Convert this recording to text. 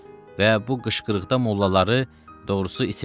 Və bu qışqırıqda mollaları doğrusu itirdim.